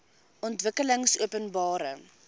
ontwikkelingopenbare